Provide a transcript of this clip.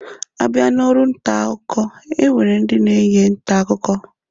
Abịa n'ọrụ ntaakụkọ, e nwere ndị na-enye ntaakụkọ